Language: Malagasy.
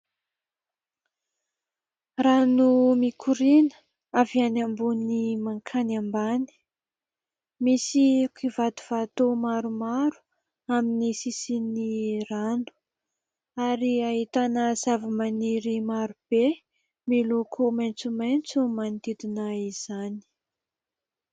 Rano mikoriana avy any ambony mankany ambany, misy kivatovato maromaro amin'ny sisin'ny rano ary ahitana zavamaniry maro be miloko maitsomaitso manodidina izany.